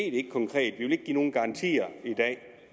nogen garantier i dag